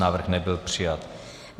Návrh nebyl přijat.